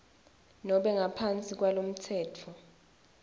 nobe ngaphansi kwalomtsetfo